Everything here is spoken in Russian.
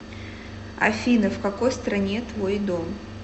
афина в какой стране твой дом